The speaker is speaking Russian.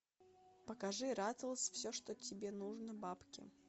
покажи ратлз все что тебе нужно бабки